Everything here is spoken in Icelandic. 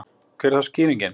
Hver er þá skýringin?